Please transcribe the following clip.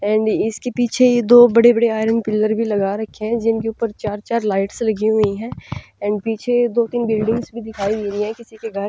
and इसके पीछे ये दो बड़े बड़े आयरन पिलर भी लगा रखे हैं जिनके ऊपर चार चार लाइट्स लगी हुई है एंड पीछे दो तीन बिल्डिंग भी दिखाई दे रही है किसी के घर --